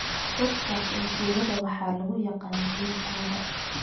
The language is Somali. dadkaas oo tuulada waxaa lugu yaqan geelkooda